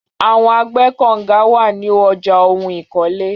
Àwọn agbẹ́kọ̀nga wà ní ọjà ohun ìkọ́lé.